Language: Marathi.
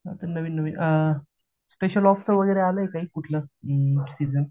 अजून नवीन स्पेशल ऑप्श च वगैरे आलंय कुठलं सीजन